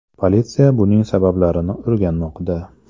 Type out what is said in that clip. Politsiya buning sabablarini o‘rganmoqda.